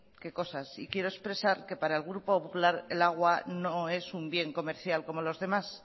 qué cosas y quiero expresar que para el grupo popular el agua no es un bien comercial como lo demás